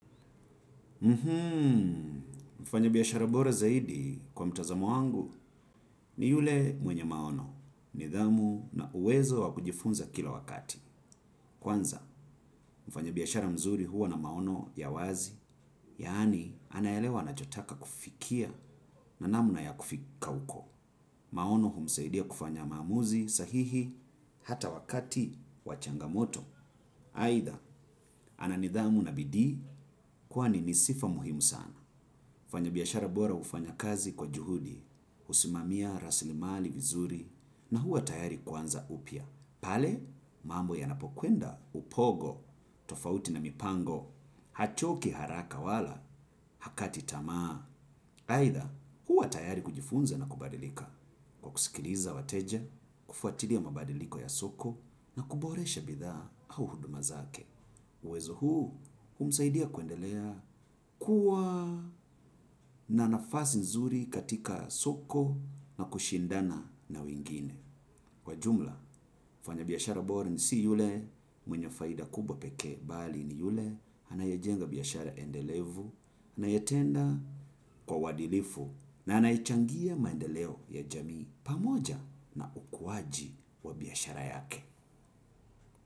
Mfanya biashara bora zaidi kwa mtazamo wangu ni yule mwenye maono, nidhamu na uwezo wakujifunza kila wakati. Kwanza, mfanya biashara mzuri huwa na maono ya wazi, yaani anaelewa anachotaka kufikia na namna ya kufika huko. Maono humsaidia kufanya maamuzi sahihi hata wakati wa changamoto. Aidha, ana nidhamu na bidii kwani nisifa muhimu sana. Mfanya biashara bora hufanya kazi kwa juhudi, husimamia rasilimali vizuri na huwa tayari kuanza upya. Pale, mambo yanapokwenda upogo, tofauti na mipango, hachoki haraka wala, hakati tamaa. Aidha, huwa tayari kujifunza na kubadilika. Kwakusikiliza wateja, kufatilia mabadiliko ya soko na kuboresha bidhaa au huduma zake. Uwezo huu, humsaidia kuendelea kuwa na nafasi nzuri katika soko na kushindana na wengine. Kwa jumla, mfanya biashara bora ni si yule, mwenye faida kubwa pekee bali ni yule, anayejenga biashara endelevu, anayetenda kwa uwaadilifu, na anayechangia maendeleo ya jamii pamoja na ukuwaji wa biashara yake.